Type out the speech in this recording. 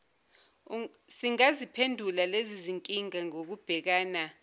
singaziphendula lezizinkinga ngokubhekana